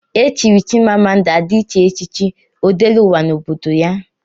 Echiri Chimamanda Adichie echichi Odeleụwa n'obodo ya.